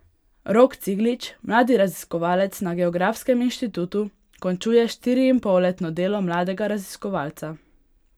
Rok Ciglič, mladi raziskovalec na geografskem inštitutu, končuje štiriinpolletno delo mladega raziskovalca.